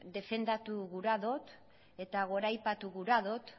defendatu gura dut eta goraipatu gura dut